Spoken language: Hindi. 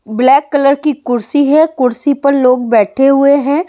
ब्लैक कलर की कुर्सी है कुर्सी पर लोग बैठे हुए हैं ।